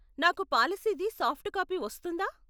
నాకు పాలసీది soft copy వస్తుందా?